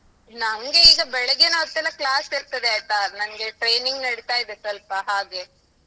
ನಂಗೆ ಈಗ ಬೆಳಿಗ್ಗೆ ಹೊತ್ತೆಲ್ಲಾ class ಇರ್ತದೆ ಆಯ್ತಾ, ನಂಗೆ training ನಡಿತಾಯಿದೆ ಸ್ವಲ್ಪ ಹಾಗೆ.